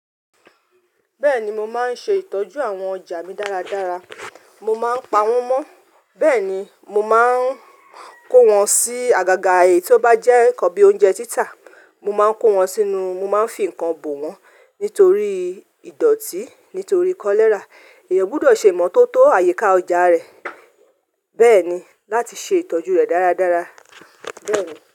Bẹ́ẹ̀ni, mo máa ń ṣe ìtọ́jú àwọn ọjà mi dáradára, mo máa ń pa wọ́n mọ́, bẹ́ẹ̀ ni mo máa ń kó wọn sí àgàgà eyii tí ó bá jẹ́ ǹkan bí i oúnjẹ títà, mo máa ń kó wọn sínú, mo máa ń fi ǹkan bò wọ́n nítorí ìdọ̀tí, nítorí kọ́lẹ́rà. Eeyan gbọ́dọ̀ ṣe ìmọ́tótó àyíká ọjà rẹ̀, bẹ́ẹ̀ ni láti ṣe ìtọ́jú rẹ̀ dáradára. Bẹ́ẹ̀ ni.